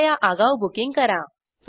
कृपया आगाऊ बुकींग करा